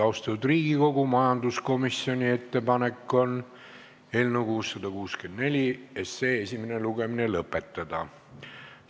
Austatud Riigikogu, majanduskomisjoni ettepanek on eelnõu 664 esimene lugemine lõpetada.